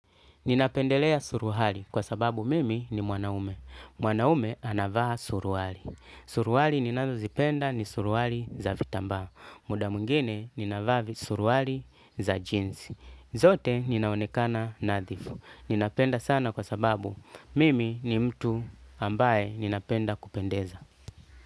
Ninapendelea suruali kwa sababu mimi ni mwanaume. Mwanaume anavaa suruali. Suruali ninazozipenda ni suruali za vitambaa. Muda mwingine ninavaa suruali za jinzi. Zote ninaonekana nadhifu. Ninapenda sana kwa sababu mimi ni mtu ambaye ninapenda kupendeza.